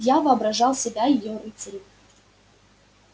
я воображал себя её рыцари